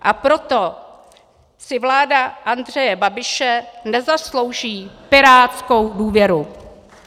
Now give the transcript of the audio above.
A proto si vláda Andreje Babiše nezaslouží pirátskou důvěru.